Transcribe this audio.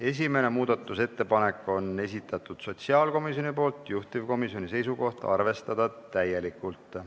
Esimese muudatusettepaneku on esitanud sotsiaalkomisjon, juhtivkomisjoni seisukoht on arvestada täielikult.